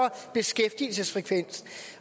beskæftigelsesfrekvens